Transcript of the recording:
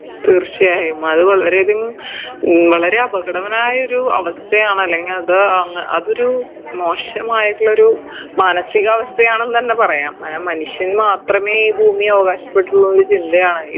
തീർച്ചയായും അത് വളരെ അധികം ഉം വളരെ അപകടകരമായ ഒരു അവസ്ഥയാണ് അല്ലെങ്കി അത് അങ്ങ് അതൊരു മോശമായിട്ടുള്ളൊരു മാനസികാവസ്ഥയാണെന്നെന്നെ പറയാം അങ്ങനെ മനുഷ്യൻ മാത്രമേ ഈ ഭൂമി അവകാശപ്പെട്ടിട്ടുള്ളുന്ന ചിന്തയാണ്